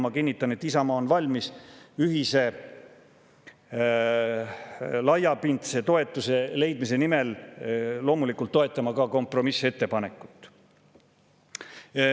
Ma kinnitan, et Isamaa on valmis ühise laiapindse toetuse leidmise nimel loomulikult toetama ka kompromissettepanekut.